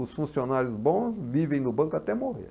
Os funcionários bons vivem no banco até morrer.